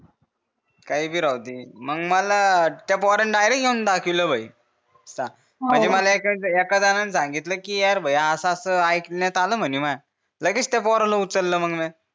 काही बी राहू दे मग मला त्या पोराने डायरेक्ट येऊन दाखवले भाई मला एका जनाणे सांगितले कि भाई असं असं अयिकण्यात आलं म्हणे मह्या लगेच त्या पोराले उचललं मग मिया